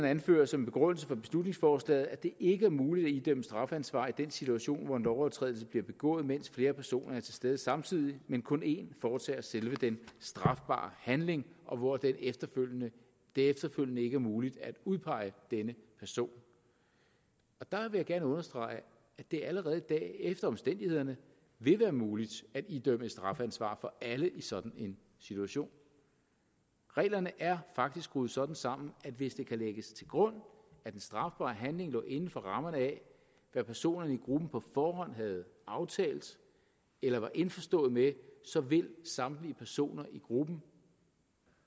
anfører som begrundelse for beslutningsforslaget at det ikke er muligt at idømme strafansvar i den situation hvor en lovovertrædelse bliver begået mens flere personer er til stede samtidig men hvor kun én foretager selve den strafbare handling og hvor det efterfølgende efterfølgende ikke er muligt at udpege denne person der vil jeg gerne understrege at det allerede i dag efter omstændighederne vil være muligt at idømme et strafansvar for alle i sådan en situation reglerne er faktisk skruet sådan sammen at hvis det kan lægges til grund at den strafbare handling lå inden for rammerne af hvad personerne i gruppen på forhånd havde aftalt eller var indforstået med så vil samtlige personer i gruppen